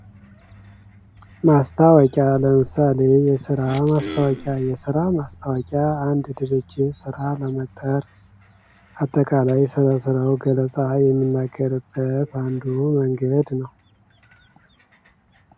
ማስታወቂያ ለምሳሌ የስራ ማስታወቂያ የስራ ማስታወቂያ አንድ ድርጅት ራ ለመቅጠር አንድ ድርጅት ራ ለመቅጠር አጠቃላይ ስለ ስራው ገለጻ የምናካሂድበት አንዱ መንገድ ነው።